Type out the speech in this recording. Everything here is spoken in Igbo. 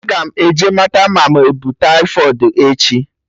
Aga m eje mata ma mụ ebu taifọịdi echi